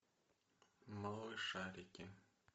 малышарики